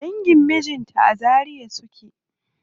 Dangin mijinta a Zaria suke.